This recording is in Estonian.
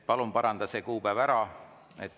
Palun paranda see kuupäev ära.